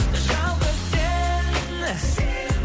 жалғыз сен